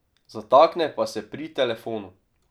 Zatakne pa se pri telefonu.